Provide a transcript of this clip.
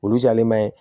Olu jalen bɛ